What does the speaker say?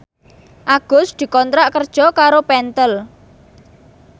Agus dikontrak kerja karo Pentel